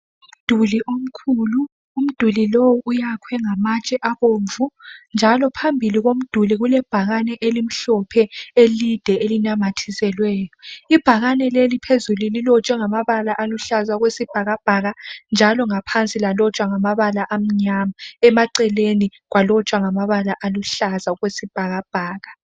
Umduli omkhulu , umduli lowu uyakhwe ngamatshe abomvu njalo phambili komduli kulebhakane elimhlophe elide elinamathiselweyo , ibhakane leli lilotshwe ngamabala aluhlaza okwesibhakabhaka njalo ngaphansi lalotshwa ngamabala amnyama emaceleni kwalotshwa ngamabala aluhlaza okwesibhakabhaka